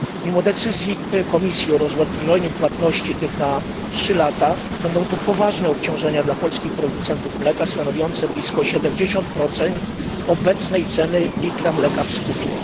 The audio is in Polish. Mimo decyzji Komisji o rozłożeniu tych płatności na trzy lata będą to poważne obciążenia dla polskich producentów mleka, stanowiące blisko 70 obecnej ceny litra mleka w skupie.